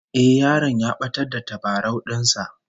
Eh, yaron ya batar da tabarau din sa